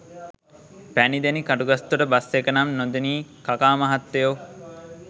පැණිදෙනි Katugastota bus එක නම් නොදනී කකා මහත්තයෝ